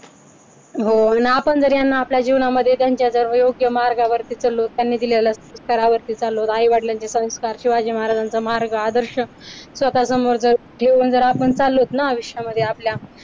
हो आणि आपण जरी यांना आपल्या जीवनामध्ये त्यांच्या जर योग्य मार्गावर लोकांनी दिलेल्या स्तरावरती चाललो आई वडिलांचे संस्कार शिवाजी महाराजांचा मार्ग आदर्श स्वतः समोर ठेवून आपण चाललोच ना आयुष्यामध्ये आपल्या